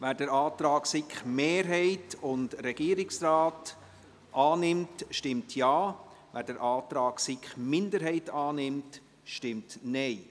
Wer den Antrag der SiK-Mehrheit und des Regierungsrates annimmt, stimmt Ja, wer den Antrag der SiK-Minderheit annimmt, stimmt Nein.